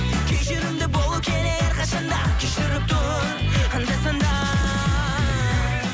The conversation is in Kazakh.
кешірімді болу керек әрқашанда кешіріп тұр анда санда